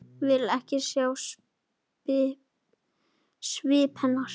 Vill ekki sjá svip hennar.